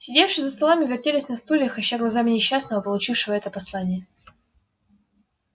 сидевшие за столами вертелись на стульях ища глазами несчастного получившего это послание